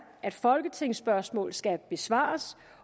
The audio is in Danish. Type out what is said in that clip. at folketingsspørgsmål skal besvares